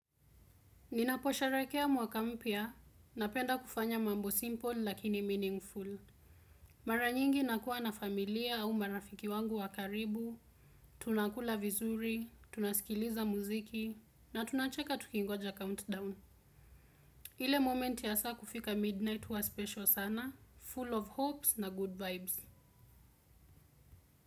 Ninaposherehrkea mwaka mpya napenda kufanya mambo simple lakini meaningful. Mara nyingi nakuwa na familia au marafiki wangu wakaribu, tunakula vizuri, tunaskiliza muziki na tunacheka tukingoja countdown. Ile momenti ya saa kufika midnight huwa special sana, full of hopes na good vibes.